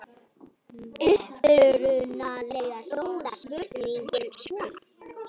Upprunalega hljóðar spurningin svona: